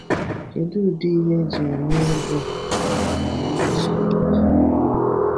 Kédụ ụdị ihe eji eme egwu na mmemme masquerade?